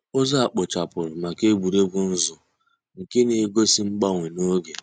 Ụ́zọ̀ à kpochàpùrù mǎká ègwè́régwụ̀ nzù nke nà-egósì mgbànwè nke ògè.